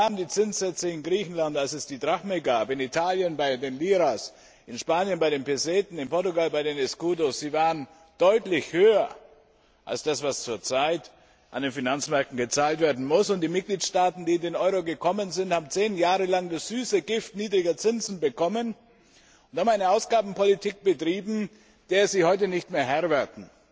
Wie waren die Zinssätze in Griechenland, als es die Drachme gab, in Italien bei der Lira, in Spanien bei der Pesete, in Portugal beim Escudo? Sie waren deutlich höher als das, was zurzeit an den Finanzmärkten gezahlt werden muss. Die Mitgliedstaaten, die in den Euro gekommen sind, haben zehn Jahre lang das süße Gift niedriger Zinsen bekommen und haben eine Ausgabenpolitik betrieben, der sie heute nicht mehr Herr werden.